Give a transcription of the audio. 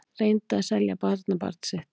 Reyndi að selja barnabarn sitt